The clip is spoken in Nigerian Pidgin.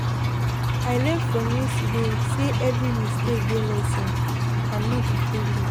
Yesterday remind me say, sometimes di best way to solve problem na to stay calm.